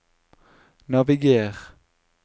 naviger